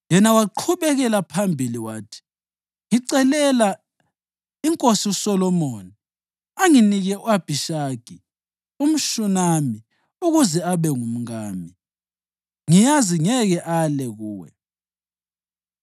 Yena waqhubekela phambili wathi, “Ngicelela inkosi uSolomoni anginike u-Abhishagi umShunami ukuze abe ngumkami, ngiyazi ngeke ale kuwe.”